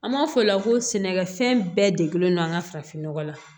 An b'a fɔ o la ko sɛnɛkɛfɛn bɛɛ degelen no an ka farafinnɔgɔ la